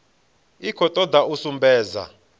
i khou toda u sumbedza